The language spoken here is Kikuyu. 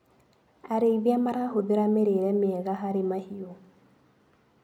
Arĩithia marahũthĩra mĩrĩire mĩega harĩ mahiũ.